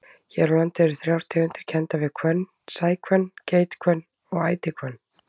Hér á landi eru þrjár tegundir kenndar við hvönn, sæhvönn, geithvönn og ætihvönn.